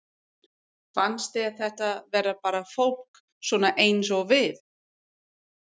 Fannst þér þetta vera bara fólk svona eins og við?